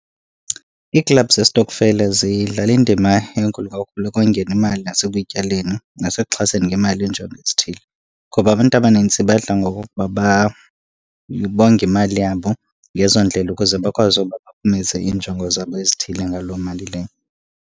Iiklabhu zesitokfela zidlala indima enkulu kakhulu ekongeni imali nasekuyityaleni, nasekuxhaseni ngemali injongo ezithile. Ngoba abantu abanintsi badla ngokokuba bonge imali yabo ngezo ndlela ukuze bakwazi uba baphumeze iinjongo zabo ezithile ngaloo mali leyo.